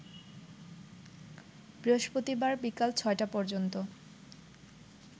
বৃহস্পতিবার বিকাল ৬টা পর্যন্ত